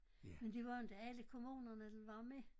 Men det var inte alle kommunerne der var med